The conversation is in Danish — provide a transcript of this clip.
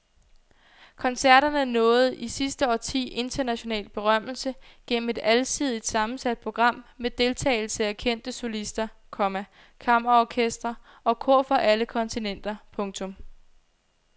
Koncerterne nåede i sidste årti international berømmelse gennem et alsidigt sammensat program med deltagelse af kendte solister, komma kammerorkestre og kor fra alle kontinenter. punktum